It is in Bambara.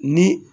Ni